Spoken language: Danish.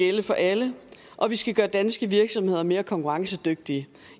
gælde for alle og vi skal gøre danske virksomheder mere konkurrencedygtige